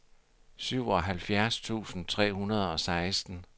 syvoghalvfjerds tusind tre hundrede og seksten